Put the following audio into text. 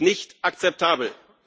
Das ist nicht akzeptabel.